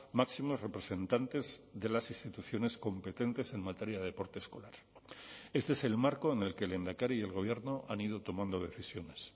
máximos representantes de las instituciones competentes en materia de deporte escolar este es el marco en el que el lehendakari y el gobierno han ido tomando decisiones